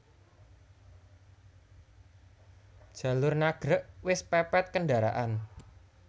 Jalur Nagreg wis pepet kendaraan